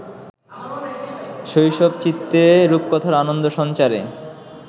শৈশবচিত্তে রূপকথার আনন্দ সঞ্চারে